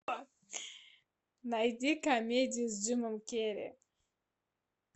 найди комедию с джимом керри